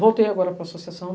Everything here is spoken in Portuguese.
Voltei agora para a associação.